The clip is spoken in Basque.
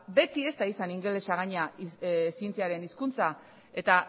beti ez da izan ingelesa gainera zientziaren hizkuntza eta